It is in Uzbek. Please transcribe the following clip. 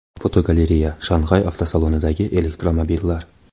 Fotogalereya: Shanxay avtosalonidagi elektromobillar.